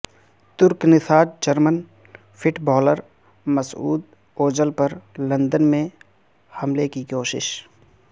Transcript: ترک نژاد German footballer Mesut Ozil پر لندن میں حملے کی کوشش